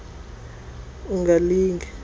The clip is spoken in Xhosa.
wazi ngcono ungalinge